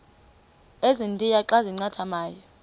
ezintia xa zincathamayo